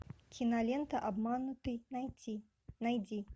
кинолента обманутый найти найди